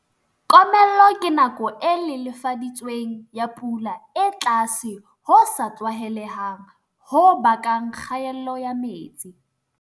Komello ke nako e lelefa ditsweng ya pula e tlase ho sa tlwaelehang ho bakang kgaello ya metsi.